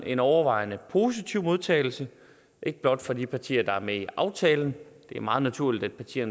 en overvejende positiv modtagelse ikke blot fra de partier der er med i aftalen det er meget naturligt at partier